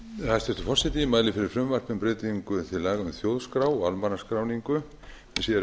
hæstvirtur forseti ég mæli fyrir frumvarpi um breytingu til laga um þjóðskrá og almannaskráningu með síðari